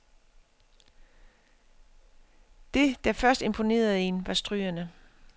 Det der først imponerede en, var strygerne.